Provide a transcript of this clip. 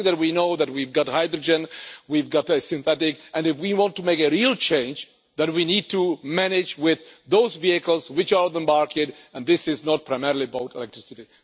We know that we've got hydrogen, we've got a synthetic, and if we want to make a real change then we need to manage with those vehicles which are on the market, and this is not primarily about electricity.